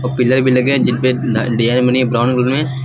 Pillar भी लगे हैं जिनपे डिजाइन बनी है ब्राउन कलर में।